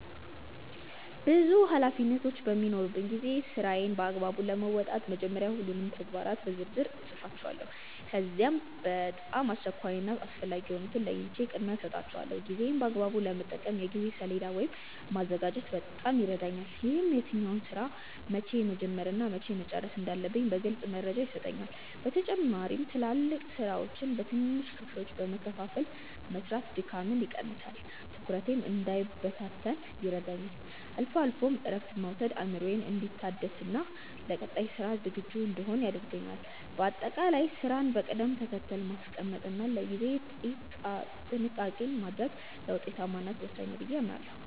ብዙ ኃላፊነቶች በሚኖሩኝ ጊዜ ስራዎቼን በአግባቡ ለመወጣት መጀመሪያ ሁሉንም ተግባራት በዝርዝር እጽፋቸዋለሁ። ከዚያም በጣም አስቸኳይ እና አስፈላጊ የሆኑትን ለይቼ ቅድሚያ እሰጣቸዋለሁ። ጊዜዬን በአግባቡ ለመጠቀም የጊዜ ሰሌዳ ወይም ማዘጋጀት በጣም ይረዳኛል። ይህም የትኛውን ስራ መቼ መጀመር እና መቼ መጨረስ እንዳለብኝ ግልጽ መረጃ ይሰጠኛል። በተጨማሪም ትላልቅ ስራዎችን በትንንሽ ክፍሎች በመከፋፈል መስራት ድካምን ይቀንሳል፤ ትኩረቴም እንዳይበታተን ይረዳኛል። አልፎ አልፎም እረፍት መውሰድ አእምሮዬ እንዲታደስና ለቀጣይ ስራ ዝግጁ እንድሆን ያደርገኛል። በአጠቃላይ ስራን በቅደም ተከተል ማስቀመጥ እና ለጊዜ ጥንቃቄ ማድረግ ለውጤታማነት ወሳኝ ነው ብዬ አምናለሁ።